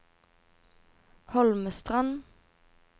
Holmestrand